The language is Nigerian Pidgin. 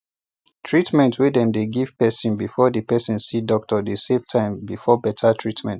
treatmrnt wey dem dey first give person befor the person see doctor dey save time before better treatment